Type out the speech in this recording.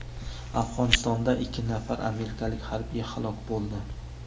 Afg‘onistonda ikki nafar amerikalik harbiy halok bo‘ldi.